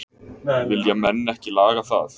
Vilja menn ekki laga það?